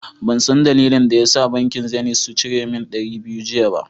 Ban zan dalilin da ya da bankin " zenith " sun cire min dari biyu jiya ba.